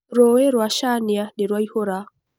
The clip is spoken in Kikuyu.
Rũĩ rũa cania nĩrũaihũra.